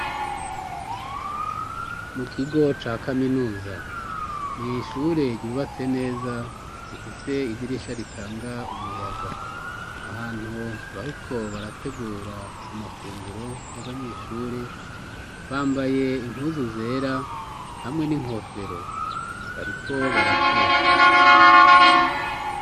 Mu kigo ca kaminuza n’ishure ryubatse neza rifise idirisha ritanga umuyaga ahantu bahiko barategura amafunguro y'abanyeshure bambaye impuzu zera hamwe n'inkofero bariko barateka.